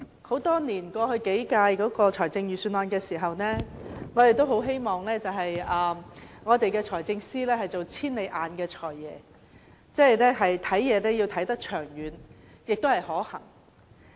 主席，過去數年，我們一直希望財政司司長在制訂財政預算案時，可做"千里眼"的"財爺"，要看得長遠和可行。